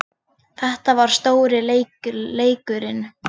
Þetta var stóri leikurinn